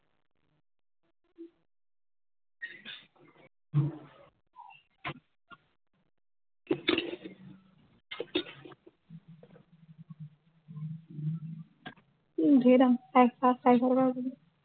উম ধেৰ দাম, পাঁচশ, চাৰিশ টকা হব নেকি?